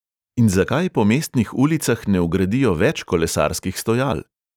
In zakaj po mestnih ulicah ne vgradijo več kolesarskih stojal?